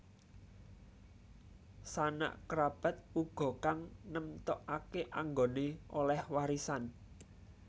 Sanak kerabat uga kang nemtokake anggone oleh warisan